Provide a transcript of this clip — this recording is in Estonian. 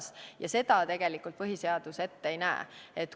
Seda põhiseadus tegelikult ette ei näe.